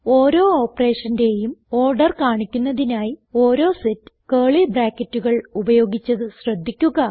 ഓരോ operationന്റേയും ഓർഡർ കാണിക്കുന്നതിനായി ഓരോ സെറ്റ് ക്യൂളി bracketകൾ ഉപയോഗിച്ചത് ശ്രദ്ധിക്കുക